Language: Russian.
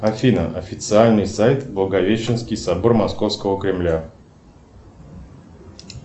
афина официальный сайт благовещенский собор московского кремля